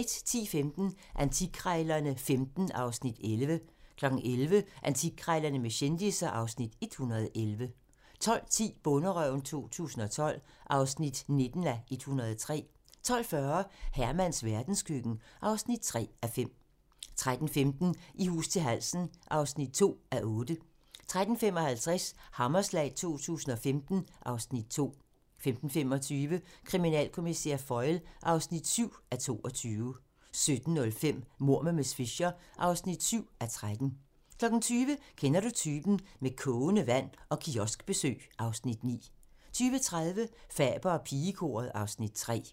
10:15: Antikkrejlerne XV (Afs. 11) 11:00: Antikkrejlerne med kendisser (Afs. 111) 12:10: Bonderøven 2012 (19:103) 12:40: Hermans verdenskøkken (3:5) 13:15: I hus til halsen (2:8) 13:55: Hammerslag 2015 (Afs. 2) 15:25: Kriminalkommissær Foyle (7:22) 17:05: Mord med miss Fisher (7:13) 20:00: Kender du typen? - Med kogende vand og kioskbesøg (Afs. 9) 20:30: Faber og pigekoret (Afs. 3)